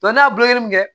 n'a bolonɔ min